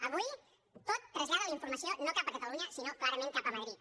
avui tot trasllada la informació no cap a catalunya sinó clarament cap a madrid